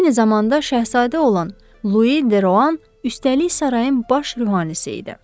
Eyni zamanda şahzadə olan Lui De Roan, üstəlik sarayın baş ruhanisi idi.